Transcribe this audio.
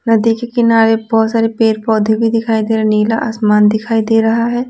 नदी के किनारे बहुत सारे पेर पौधे भी दिखाई दे रहे हैं नीला आसमान दिखाई दे रहा है।